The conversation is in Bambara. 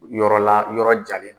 Yɔrɔla yɔrɔ jalen don